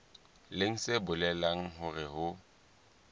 leng se bolelang hore ho